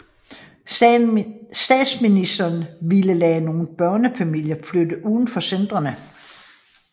Statsministeren ville lade nogle børnefamilier flytte uden for centrene